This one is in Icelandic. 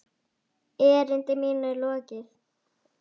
Erindi mínu er lokið!